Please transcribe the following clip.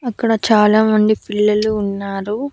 అక్కడ చాలామంది పిల్లలు ఉన్నారు.